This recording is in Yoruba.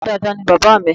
Bàbá dáadáa ní bàbá mi